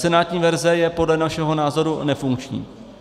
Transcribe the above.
Senátní verze je podle našeho názoru nefunkční.